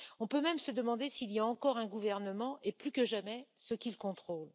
On peut même se demander s'il y a encore un gouvernement et, plus que jamais, ce qu'il contrôle.